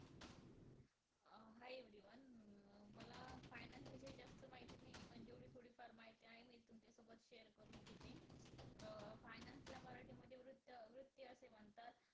अं Hi Everyone um मला Finance विषयी जास्त माहिती नाहीये पण जेवढी थोडीफार माहिती आहे मी तुमच्यासोबत Share करू इच्छिते अं Finance ला मराठीमध्ये वृत्त, वृत्ती असे म्हणतात